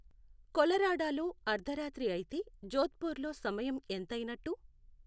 కొలరాడోలో అర్ధరాత్రి అయితే జోధ్పూర్లో సమయం ఎంతైనట్టు